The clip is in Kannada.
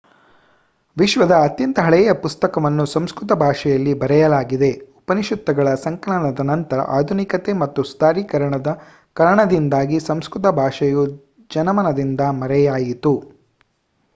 ವಿಶ್ವದ ಅತ್ಯಂತ ಹಳೆಯ ಪುಸ್ತಕವನ್ನು ಸಂಸ್ಕೃತ ಭಾಷೆಯಲ್ಲಿ ಬರೆಯಲಾಗಿದೆ ಉಪನಿಷತ್ತುಗಳ ಸಂಕಲನದ ನಂತರ ಆಧುನಿಕತೆ ಹಾಗೂ ಸುಧಾರೀಕರಣದ ಕಾರಣದಿಂದಾಗಿ ಸಂಸ್ಕೃತ ಭಾಷೆಯು ಜನಮನದಿಂದ ಮರೆಯಾಯಿತು